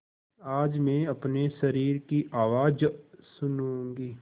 आज मैं अपने शरीर की आवाज़ सुनूँगी